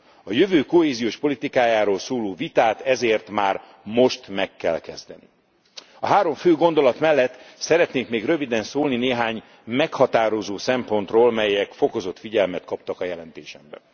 A jövő kohéziós politikájáról szóló vitát ezért már most meg kell kezdeni. A három fő gondolat mellett szeretnék még röviden szólni néhány meghatározó szempontról, melyek fokozott figyelmet kaptak a jelentésemben.